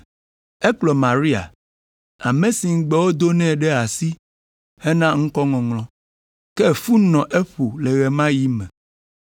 Ekplɔ Maria, ame si ŋugbe wodo nɛ ɖe asi hena ŋkɔŋɔŋlɔ; ke fu nɔ eƒo le ɣe ma ɣi me.